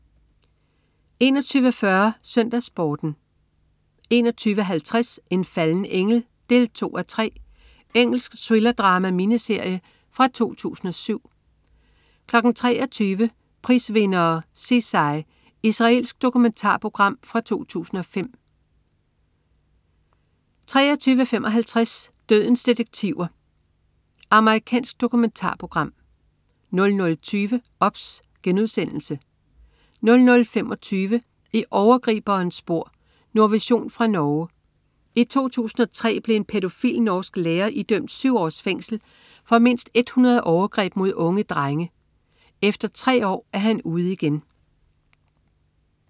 21.40 SøndagsSporten 21.50 En falden engel 2:3. Engelsk thrillerdrama-miniserie fra 2007 23.00 Prisvindere: Sisai. Israelsk dokumentarprogram fra 2005 23.55 Dødens detektiver. Amerikansk dokumentarprogram 00.20 OBS* 00.25 I overgriberens spor. Nordvision fra Norge. I 2003 blev en pædofil, norsk lærer idømt syv års fængsel for mindst 100 overgreb mod unge drenge. Efter 3 år er han ude igen